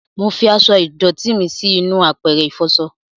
Mọ fí aṣọ ìdòtí mí sí inú àpẹrẹ ifọṣọ